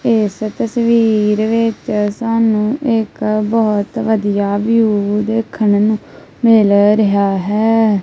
ਏਸ ਤਸਵੀਰ ਵਿੱਚ ਸਾਨੂੰ ਇੱਕ ਬੋਹਤ ਵਧੀਆ ਵਿਊ ਦੇਖਨ ਨੂੰ ਮਿਲ ਰਿਹਾ ਹੈ।